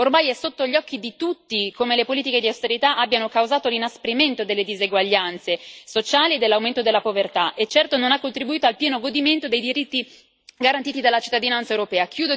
Ormai è sotto gli occhi di tutti come le politiche di austerità abbiano causato l'inasprimento delle diseguaglianze sociali e dell'aumento della povertà, e certo non hanno contribuito al pieno godimento dei diritti garantiti dalla cittadinanza europea.